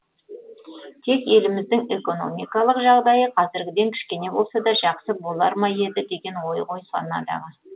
тек еліміздің экономикалық жағдайы қазіргіден кішкене болса да жақсы болар ма еді деген ой ғой санадағы